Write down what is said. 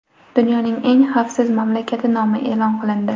Dunyoning eng xavfsiz mamlakati nomi e’lon qilindi.